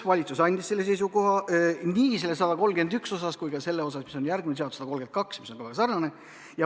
Valitsus andis selle seisukoha nii selle eelnõu 131 kohta kui ka järgmise eelnõu 132 kohta, mis on väga sarnane.